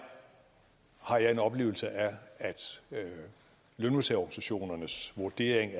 har jeg en oplevelse af at lønmodtagerorganisationernes vurdering